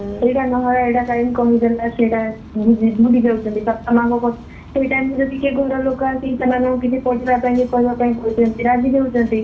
ଏଇଟା ନୁହ ଏଇଟା କାଇଁ କହିଦେଲା ସେଇଟା ନିଜେ ଭୁଲିଯାଉଛନ୍ତି ବାପା ମାଆ ଙ୍କ କଥା ସେଇ time ରେ ଯଦି କିଏ ଘର ଲୋକ ଆସିକି ସେମାନଙ୍କୁ କିଛି ପଚାରିବା ପାଇଁ କି କହିବା ପାଇଁ କହୁଛନ୍ତି ରାଗି ଯାଉଛନ୍ତି